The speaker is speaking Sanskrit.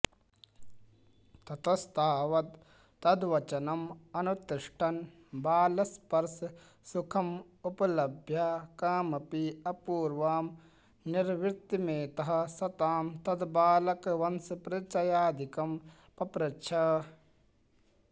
ततस्तावत्तद्वचनमनुतिष्ठन् बालस्पर्शसुखमुपलभ्य कामपि अपूर्वां निर्वृतिमेतः स तां तद्बालकवंशपरिचयादिकं पप्रच्छ